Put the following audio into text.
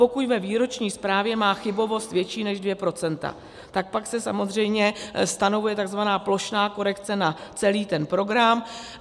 pokud ve výroční zprávě má chybovost větší než 2 %, tak pak se samozřejmě stanovuje tzv. plošná korekce na celý ten program.